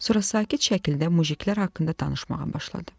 sonra sakit şəkildə mujiklər haqqında danışmağa başladı.